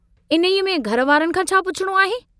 इन्हीअ में घर वारनि खां छा पुछिणो आहे?